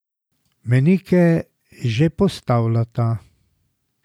Mejnike že postavljata.